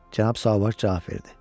Cənab Sauvage cavab verdi: